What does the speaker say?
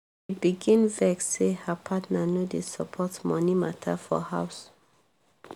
she begin vex say her partner no dey support money matter for house.